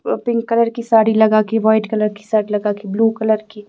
व pink colour की साड़ी लगा के व्हाइट कलर की शर्ट लगा के ब्लू कलर की--